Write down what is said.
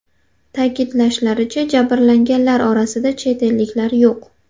Ta’kidlanishicha, jabrlanganlar orasida chet elliklar yo‘q.